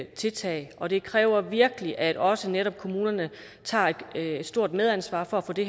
tiltag og det kræver virkelig at også netop kommunerne tager et stort medansvar for at få det